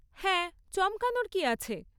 হ্যাঁ, চমকানোর কী আছে?